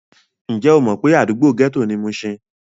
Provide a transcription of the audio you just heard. Ǹjẹ́ o mọ̀ pé àdúgbò gẹ́tò ni mushin?